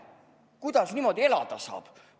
Kuidas niimoodi elada saab?